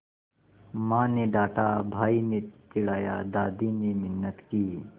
माँ ने डाँटा भाई ने चिढ़ाया दादी ने मिन्नत की